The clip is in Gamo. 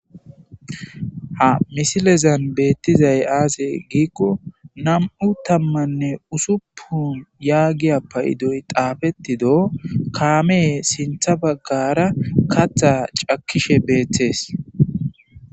Ha misilezan beettizay aaze giikko nam7u tammanne usuppun yaagiya paydoy xaafettido kaamee sintha baggara katha cakkishe beeththees.